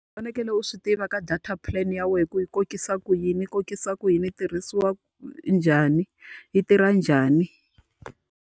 U fanekele u swi tiva ka data plan ya wena ku kokisa ku yini. Yi kokisa ku yini, yi tirhisiwa njhani, yi tirha njhani.